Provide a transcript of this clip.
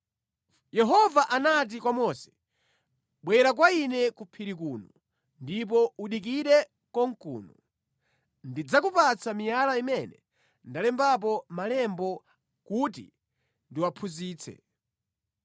Yehova anati kwa Mose, “Bwera kwa ine ku phiri kuno, ndipo udikire konkuno. Ndidzakupatsa miyala imene ndalembapo malemba kuti ndiwaphunzitse.”